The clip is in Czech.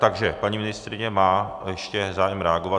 Takže paní ministryně má ještě zájem reagovat.